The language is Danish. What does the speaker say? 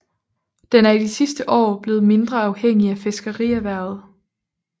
Den er i de sidste år blevet mindre afhængig af fiskerierhvervet